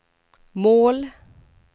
mål